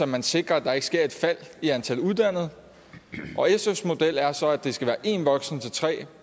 man sikrer at der ikke sker et fald i antal uddannede sfs model er så at det skal være en voksen til tre